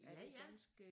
Ja det er dansk